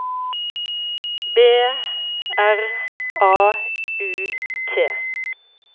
B R A U T